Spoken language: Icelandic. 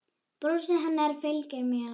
Brosið hennar fylgir mér.